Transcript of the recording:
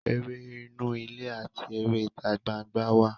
Eré inú-ilé àti eré ítagbangbá wà.